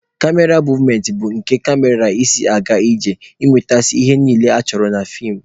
Kamera movementị bụ ka kamera si aga iji nwetasịa ihe niile achọrọ na feem.